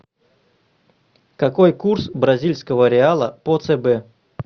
какой курс бразильского реала по цб